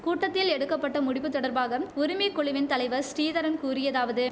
கூட்டத்தில் எடுக்க பட்ட முடிவு தொடர்பாகம் உரிமை குழுவின் தலைவர் ஸ்ரீதரன் கூறியதாவது